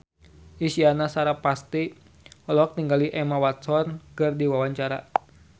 Isyana Sarasvati olohok ningali Emma Watson keur diwawancara